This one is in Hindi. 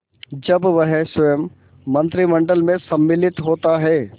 जब वह स्वयं मंत्रिमंडल में सम्मिलित होता है